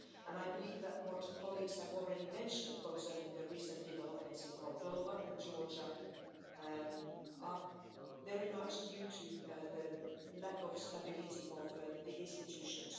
I believe that what colleagues have already mentioned concerning the recent developments in Moldova and Georgia are very much due to the lack of stability of the institutions.